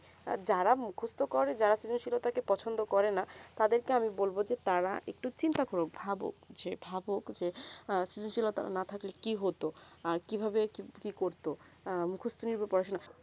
যারা মুখস্ত করে যারা সৃজনশীলতাকে কে পসন্দ করে না তাদের কে আমি বলবো যে তারা একটু চিন্তা করুক ভাবুক যে ভাভুক যে সৃজনশীলতা না থাকলে কি হতো কি ভাবে কি করতো আ মুখস্ত নির্ভর পড়াশোনা